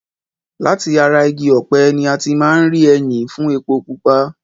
Láti ara igi ọpẹ̀ ní a ti máa ń rí ẹyìn fún epo pupa.